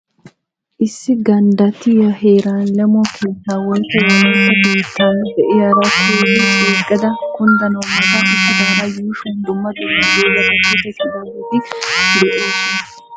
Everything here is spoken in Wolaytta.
Issi ganddattiya heeran leemo keetta woyikko wolayitta keetta diyara keehi ceeggada kunddanawu mata uttidaari yuushuwan dumma dumma doozati toketidaageeti de'oosona.